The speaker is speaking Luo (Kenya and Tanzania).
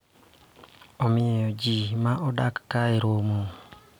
Omiyo, ji ma odak kae romo .